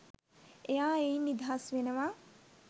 එයා එයින් නිදහස් වෙනවා.